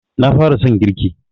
Na fara son girki